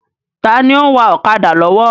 Taàní ó ń wá ọ̀kadà lọ́wọ́?